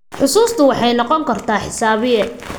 Xusuustu waxay noqon kartaa xisaabiye.